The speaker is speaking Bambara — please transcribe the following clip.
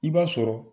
I b'a sɔrɔ